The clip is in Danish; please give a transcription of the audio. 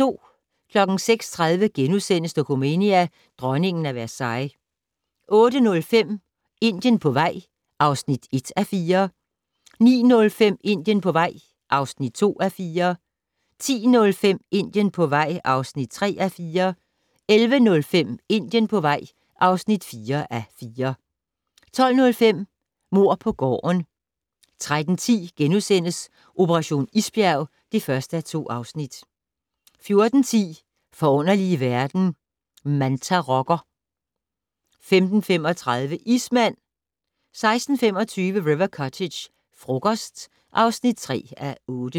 06:30: Dokumania: Dronningen af Versailles * 08:05: Indien på vej (1:4) 09:05: Indien på vej (2:4) 10:05: Indien på vej (3:4) 11:05: Indien på vej (4:4) 12:05: Mord på gården 13:10: Operation isbjerg (1:2)* 14:10: Forunderlige verden - Mantarokker 15:35: Ismand 16:25: River Cottage - frokost (3:8)